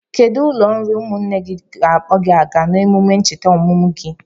Kedụ ụlọ nri ụmụnne gị ga-akpọ gị aga eme emume ncheta ọmụmụ gị?